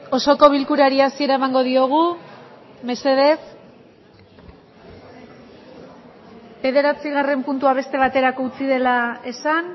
osoko bilkurari hasiera emango diogu mesedez bederatzigarren puntua beste baterako utzi dela esan